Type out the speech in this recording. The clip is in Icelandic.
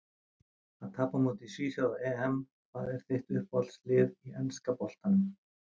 Að tapa á móti svíþjóð á EM Hvað er þitt uppáhaldslið í enska boltanum?